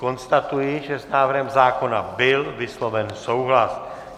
Konstatuji, že s návrhem zákona byl vysloven souhlas.